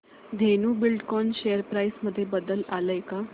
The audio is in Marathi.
धेनु बिल्डकॉन शेअर प्राइस मध्ये बदल आलाय का